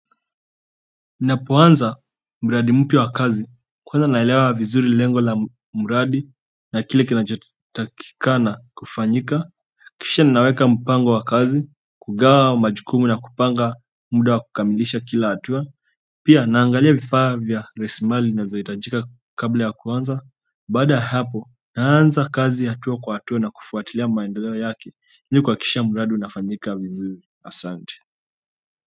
Ninapoanza mradi mpya wa kazi kwanza naelewa vizuri lengo la mradi na kile kinacho takikana kufanyika kisha naweka mpango wa kazi kugawa majukumu na kupanga muda wa kukamilisha kila hatua pia naangalia vifaa vya rasilimali ibazo hitajika kabla ya kuanza baada ya hapo naanza kazi hatua kwa hatua na kufuatilia maendeleo yake ili kuhakikisha mradi unafanyika vizuri asante.